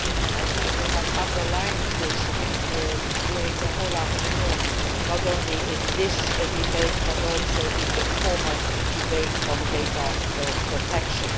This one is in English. I think we have underlined this during the whole afternoon, not only in this debate but also in the former debate on data protection.